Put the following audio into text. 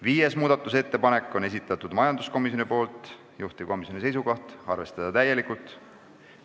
Viienda muudatusettepaneku on esitanud majanduskomisjon, juhtivkomisjoni seisukoht on arvestada täielikult.